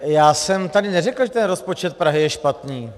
Já jsem tady neřekl, že ten rozpočet Prahy je špatný.